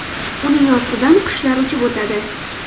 Uning ostidan qushlar uchib o‘tadi.